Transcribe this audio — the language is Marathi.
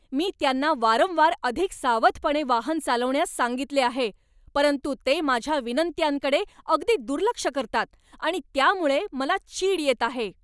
मी त्यांना वारंवार अधिक सावधपणे वाहन चालवण्यास सांगितले आहे, परंतु ते माझ्या विनंत्यांकडे अगदी दुर्लक्ष करतात आणि त्यामुळे मला चीड येत आहे.